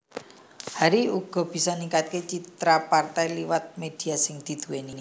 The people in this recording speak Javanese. Hari uga bisa ningkatke citra partai liwat media sing didhuweni